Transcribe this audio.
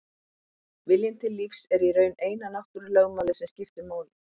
Viljinn til lífs er í raun eina náttúrulögmálið sem skiptir máli.